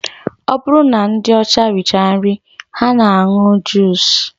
Ọ bụrụ na ndị ọcha richaa nri ha na-aṅụ juus